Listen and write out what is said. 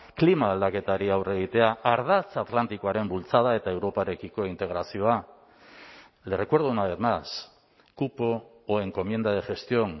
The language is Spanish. klima aldaketari aurre egitea ardatz atlantikoaren bultzada eta europarekiko integrazioa le recuerdo una vez más cupo o encomienda de gestión